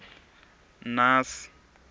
naas